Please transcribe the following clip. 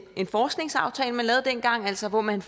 en forskningsaftale man lavede dengang altså hvor man